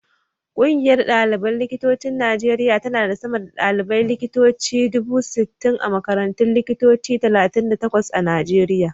Ƙungiyar ɗaliban likitocin Najeriya tana da sama da ɗaliban likitoci dubu sittin a makarantun likitoci talatin da takwas a Najeriya.